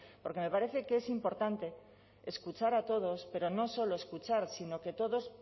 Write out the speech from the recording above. porque me parece que es importante escuchar a todos pero no solo escuchar sino que todos